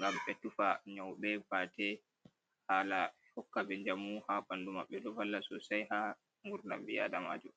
gam be tufa nyauɓe bate hala hokka ɓe jamu ha ɓandu maɓɓe ɗo valla sosai ha ngurdam ɓi adamajo.